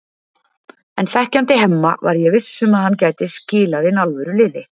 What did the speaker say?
En þekkjandi Hemma var ég viss um að hann gæti skilað inn alvöru liði.